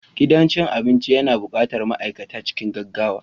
Gidan cin abinci yana buƙatar ma'aikata cikin gaggawa